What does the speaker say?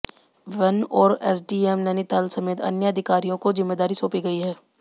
one और SDM Nainital समेत अन्य अधिकारियों को जिम्मेदारी सौंपी गई है